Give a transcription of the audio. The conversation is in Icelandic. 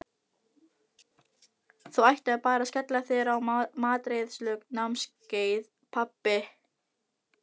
Þú ættir bara að skella þér á matreiðslunámskeið, pabbi!